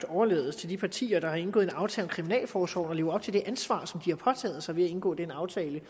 overlades til de partier der har indgået en aftale om kriminalforsorgen at leve op til det ansvar som de har påtaget sig ved at indgå den aftale